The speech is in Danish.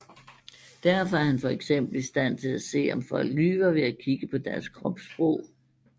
Derfor er han for eksempel i stand til at se om folk lyver ved at kigge på deres kropssprog